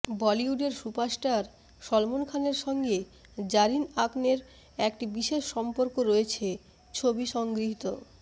বলিউডের সুপারস্টার সলমন খানের সঙ্গে জারিন আকনের একটি বিশেষ সম্পর্ক রয়েছে ছবি সংগৃহীত